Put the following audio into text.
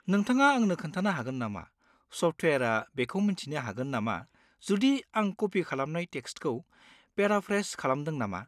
नोंथाङा आंनो खोन्थानो हागोन नामा सफ्टवेयारआ बेखौ मिन्थिनो हागोन नामा जुदि आं कपि खालामनाय टेक्सटखौ पेराफ्रेज खालामदों नामा?